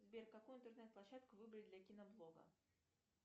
сбер какую интернет площадку выбрать для киноблога